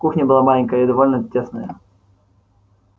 кухня была маленькая и довольно тесная